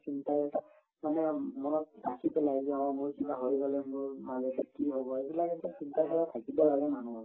মানুহৰ মনত ৰাখি পেলাই যে অ মোৰ কিবা হৈ গলে মোৰ মা-দেউতাৰ কি হব আৰু এইবিলাক এটা চিন্তাধাৰা থাকিব লাগে মানুহৰ